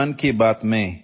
audio